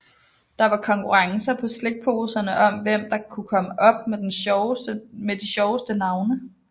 Der var konkurrencer på slikposerne om hvem der kunne komme op med de sjoveste navne